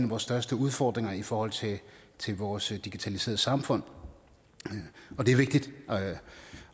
vores største udfordringer i forhold til vores digitaliserede samfund det er vigtigt